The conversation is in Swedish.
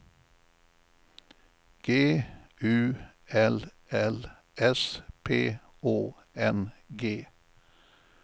G U L L S P Å N G